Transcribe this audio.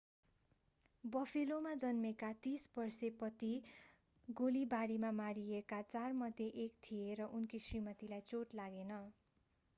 बफेलोमा जन्मेका 30 वर्षे पति गोलीबारीमा मारिएका चारमध्ये एक थिए तर उनकी श्रीमतीलाई चोट लागेन